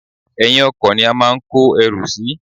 Èyin ọkò ni a máa ń kó erù sí